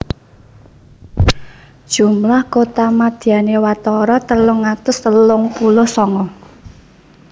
Jumlah kotamadyané watara telung atus telung puluh sanga